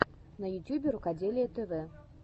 на ютьюбе рукоделие тв